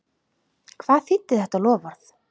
Hvað þýddi þetta loforð?